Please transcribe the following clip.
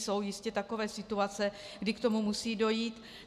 Jsou jistě takové situace, kdy k tomu musí dojít.